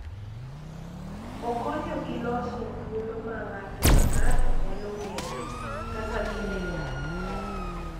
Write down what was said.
Okonyo gi loso thuolo ma ng’ato ka ng’ato nyalo ng’eyoe kaka gineno gik moko.